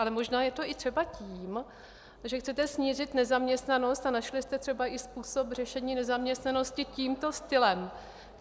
Ale možná je to i třeba tím, že chcete snížit nezaměstnanost a našli jste třeba i způsob řešení nezaměstnanosti tímto stylem.